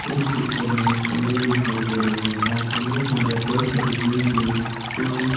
इस पिक्चर में एक कमरे दिखाई दे रहें जहां कमरे के अंदर कई सारे जिम के टूल्स --